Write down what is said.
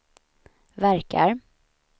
verkar